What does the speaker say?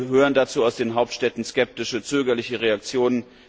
Sie hören dazu aus den Hauptstädten skeptische, zögerliche Reaktionen.